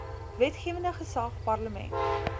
wetgewende gesag parlement